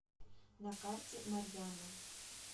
на карте марьяна